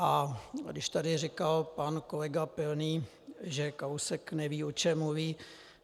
A když tady říkal pan kolega Pilný, že Kalousek neví, o čem mluví.